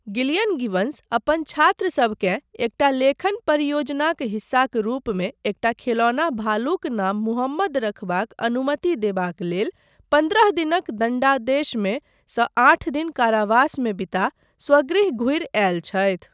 Gillian Gibbons अपन छात्रसबकेँ एकटा लेखन परियोजनाक हिस्साक रूपमे एकटा खेलौना भालुक नाम मुहम्मद रखबाक अनुमति देबाक लेल पन्द्रह दिनक दण्डादेशमे सँ आठ दिन कारावासमे बिता स्वगृह घुरि आयलि छथि।